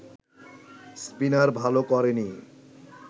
spinner ভালো করেনি